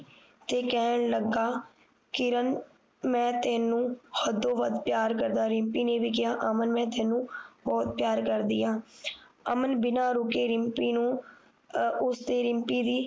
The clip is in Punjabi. ਤੇ ਕਹਿਣ ਲੱਗਾ ਕਿਰਨ ਮੈਂ ਤੈਨੂੰ ਹਦੋ ਵੱਧ ਪਿਆਰ ਕਰਦਾ ਰਿਮਪੀ ਨੇ ਵੀ ਕਿਹਾ ਅਮਨ ਮੈਂ ਤੈਨੂੰ ਬੋਹੋਤ ਪਿਆਰ ਕਰਦੀ ਆ ਅਮਨ ਬਿਨਾਂ ਰੁਕੇ ਰਿਮਪੀ ਨੂੰ ਅਹ ਉਸਦੇ ਰਿਮਪੀ ਦੀ